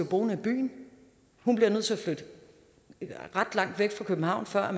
boende i byen hun bliver nødt til at flytte ret langt væk fra københavn før